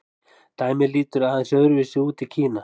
dæmið lítur aðeins öðru vísi út í kína